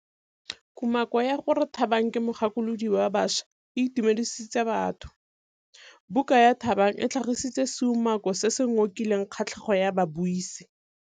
Kumakô ya gore Thabang ke mogakolodi wa baša e itumedisitse batho. Buka ya Thabang e tlhagitse seumakô se se ngokileng kgatlhegô ya babuisi.